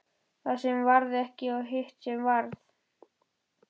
Það sem varð ekki og hitt sem varð